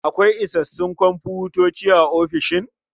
Akwai isassun komfutoci a ofishin?